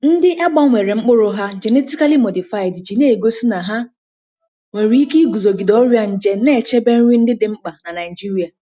Ndị a gbanwere mkpụrụ ha (genetically modified) ji na-egosi na ha nwere ike iguzogide ọrịa nje, na-echebe nri ndị dị mkpa n’Naịjịrịa.